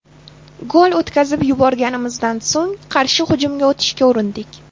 Gol o‘tkazib yuborganimizdan so‘ng qarshi hujumga o‘tishga urindik.